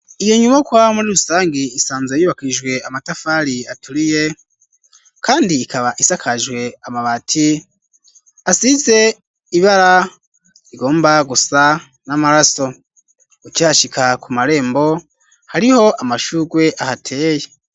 Iyo nyubakwa muri rusangi isanzwe yubakishijwe amatafari aturiye kandi ikaba isakajwe amabati asize ibara rigomba gusa n'amaraso ukihashika ku marembo hariho amashurwe ahateye.